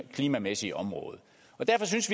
klimamæssige område derfor synes